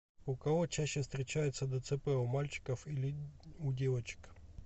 у кого чаще встречается дцп у мальчиков или у девочек